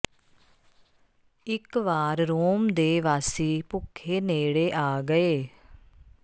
ਇਕ ਵਾਰ ਰੋਮ ਦੇ ਵਾਸੀ ਭੁੱਖੇ ਨੇੜੇ ਆ ਗਏ